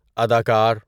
اداکار